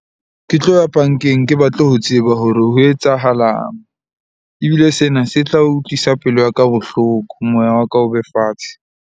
Ke tlo ya bank-eng, ke batle ho tseba hore ho etsahalang ebile sena se tla utlwisa pelo ya ka bohloko. Moya wa ka o be fatshe.